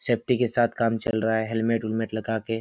safety के साथ काम चल रहा है हेलमेट उलमेट लगा के --